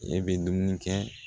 E bɛ dumuni kɛ